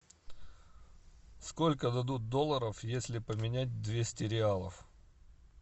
сколько дадут долларов если поменять двести реалов